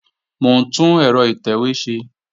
Mò ń tún ẹ̀rọ ìtẹ̀wé ṣe